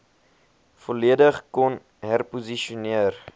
volledig kon herposisioneer